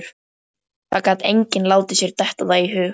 Það gat enginn látið sér detta það í hug.